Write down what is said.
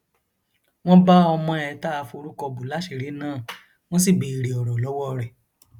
wọn bá ọmọ ẹ tá a forúkọ bọ láṣìírí náà wọn sì béèrè ọrọ lọwọ rẹ